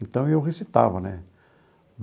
Então eu recitava né.